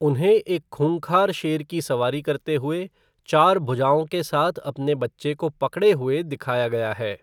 उनहें एक खूंखार शेर की सवारी करते हुए, चार भुजाओं के साथ अपने बच्चे को पकड़े हुए दिखाया गया है।